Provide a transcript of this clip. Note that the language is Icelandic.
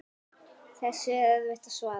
Þessu er erfitt að svara.